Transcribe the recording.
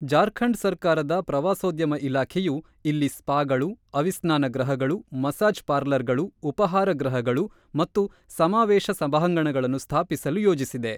ಜಾರ್ಖಂಡ್ ಸರ್ಕಾರದ ಪ್ರವಾಸೋದ್ಯಮ ಇಲಾಖೆಯು ಇಲ್ಲಿ ಸ್ಪಾಗಳು, ಆವಿಸ್ನಾನ ಗೃಹಗಳು, ಮಸಾಜ್ ಪಾರ್ಲರ್‌ಗಳು, ಉಪಹಾರ ಗೃಹಗಳು ಮತ್ತು ಸಮಾವೇಶ ಸಭಾಂಗಣಗಳನ್ನು ಸ್ಥಾಪಿಸಲು ಯೋಜಿಸಿದೆ.